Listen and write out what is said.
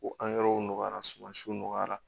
Ko angɛrɛw nɔgɔyara suman siw nɔgɔyara